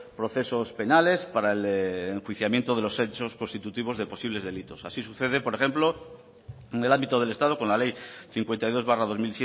procesos penales para el enjuiciamiento de los hechos constitutivos de posibles delitos así sucede por ejemplo en el ámbito del estado con la ley cincuenta y dos barra dos